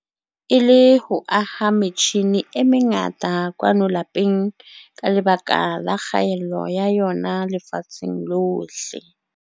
ka Mmesa, e le ho aha metjhine e mengata kwano lapeng ka lebaka la kgaello ya yona lefatsheng lohle.